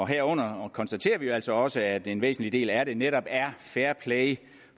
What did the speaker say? herunder konstaterer vi altså også at en væsentlig del af det netop er fairplay